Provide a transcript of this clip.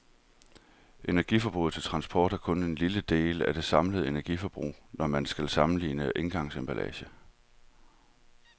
Energiforbruget til transport er kun en lille del af det samlede energiforbrug, når man skal sammenligne engangsemballager.